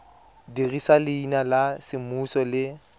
dirisa leina la semmuso le